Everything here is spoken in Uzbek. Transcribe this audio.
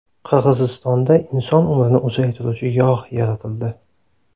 Qirg‘izistonda inson umrini uzaytiruvchi yog‘ yaratildi.